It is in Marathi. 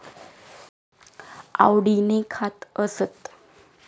आवडीने खात असत.